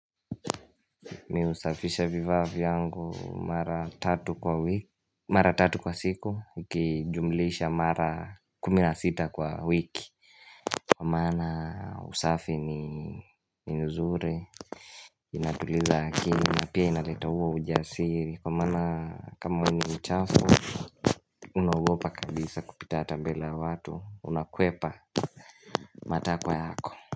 Mimi husafisha vifaa vyangu mara tatu kwa wiki, mara tatu kwa siku, ukijumulisha mara kumi na sita kwa wiki, kwa maana usafi ni nzuri ina tuliza akili, pia inaleta huo ujasiri, kwa maana kama ni uchafu Unaogopa kabisa kupita hata mbele watu, unakwepa matakwa yako.